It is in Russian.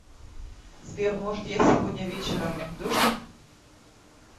сбер может я сегодня вечером дождь